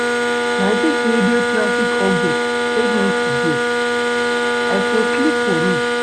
Na dis radio traffic updates save me today, I for sleep for road.